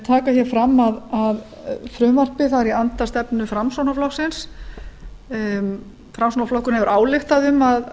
vil taka fram að frumvarpið er í anda stefnu framsóknarflokksins framsóknarflokkurinn hefur ályktað um að